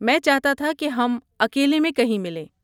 میں چاہتا تھا کہ ہم اکیلے میں کہیں ملیں۔